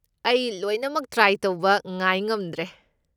ꯑꯩ ꯂꯣꯏꯅꯃꯛ ꯇ꯭ꯔꯥꯏ ꯇꯧꯕ ꯉꯥꯏ ꯉꯝꯗ꯭ꯔꯦ꯫